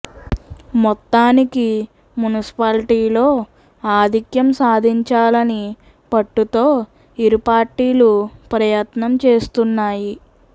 మొత్తానికి మున్సిపాలిటీలో ఆధిక్యం సాధించాలని పట్టుతో ఇరు పార్టీలు ప్రయత్నం చేస్తున్నాయి